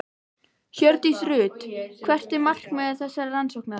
Hjördís Rut: Hvert er markmið þessarar rannsóknar?